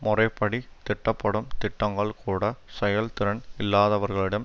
முறைப்படித் திட்டப்படும் திட்டங்கள்கூடச் செயல் திறன் இல்லாதவர்களிடம்